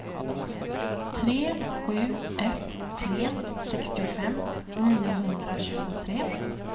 tre sju ett tre sextiofem niohundratjugotre